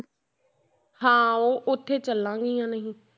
ਹਾਂ ਉਹ ਉੱਥੇ ਚੱਲਾਂਗੀਆਂ ਨਹੀਂ।